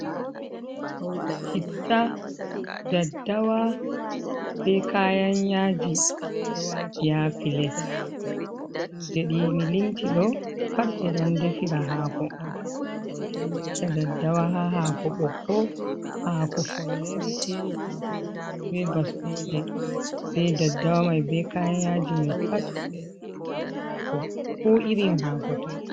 Chitta daddawa be kayan yaji ɓeɗo wati ha pilet, kuje ɗi mi limti ɗo pat ɓeɗon defira hako on. Ɓeɗo wata daddawa ha hako ɓokko, hako follere hako gubuɗo be baskoje, be daddawa mai be kayan yaji mai pat ɓeɗo naftira ha ko irin hako toi.